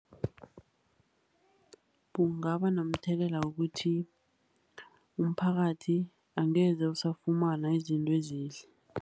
Kungaba nomthelela wokuthi umphakathi angeze usafumana izinto ezihle.